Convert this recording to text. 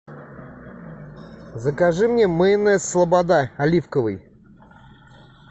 закажи мне майонез слобода оливковый